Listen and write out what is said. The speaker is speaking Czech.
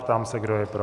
Ptám se, kdo je pro.